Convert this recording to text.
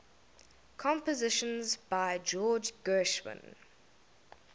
compositions by george gershwin